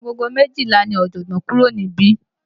Agogo méjìlá ni Ojogbon kúrò níbí.